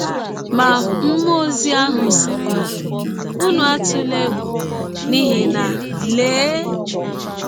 Ma mmụọ ọzi ahụ sịrị ha: ‘ Ụnụ atụla egwụ, n’ihi na, lee!